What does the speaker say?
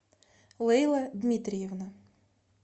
лейла дмитриевна